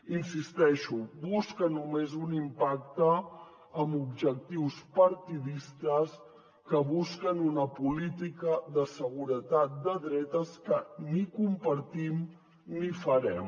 hi insisteixo busca només un impacte amb objectius partidistes que busquen una política de seguretat de dretes que ni compartim ni farem